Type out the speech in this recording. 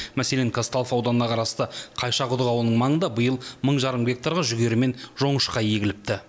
мәселен казталов ауданына қарасты қайшақұдық ауылының маңында биыл мың жарым гектарға жүгері мен жоңышқа егіліпті